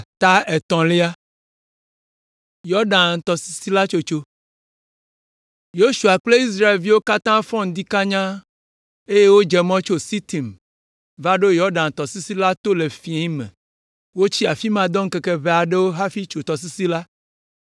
Yosua kple Israelviwo katã fɔ ŋdi kanya, eye wodze mɔ tso Sitim va ɖo Yɔdan tɔsisi la to le fiẽ me. Wotsi afi ma dɔ ŋkeke ʋɛ aɖewo hafi tso tɔsisi la.